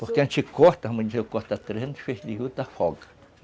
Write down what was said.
Porque antes corta, vamos dizer, eu corto a trezentos feixes de juta, afoga.